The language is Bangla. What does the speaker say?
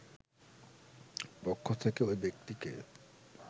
পক্ষ থেকে ঐ ব্যক্তিকে